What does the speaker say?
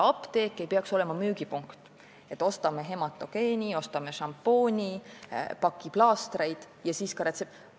Apteek ei peaks olema müügipunkt, et ostame hematogeeni, šampooni, paki plaastreid ja siis ka retseptiravimeid.